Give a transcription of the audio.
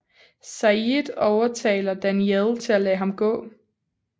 Sayid overtaler Danielle til at lade ham gå